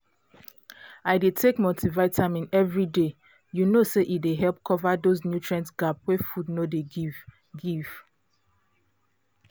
i dey take multivitamin every day you know say e dey help cover those nutrient gap wey food no dey give give